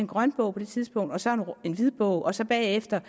grønbog på det tidspunkt og så en hvidbog og så bagefter